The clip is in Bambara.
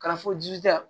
Ka na fɔ jija